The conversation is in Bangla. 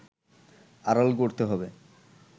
আড়াল করতে হবে